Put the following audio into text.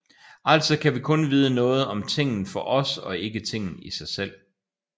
Altså kan vi kun vide noget om tingen for os og ikke tingen i sig selv